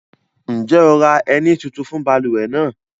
Njẹ́ o ra ẹ̀ní tuntun fun baluwe nàà?